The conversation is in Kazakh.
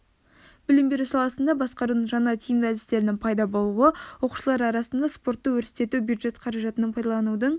білім беру саласында басқарудың жаңа тиімді әдістерінің пайда болуы оқушылар арасында спортты өрістету бюджет қаражатын пайдаланудың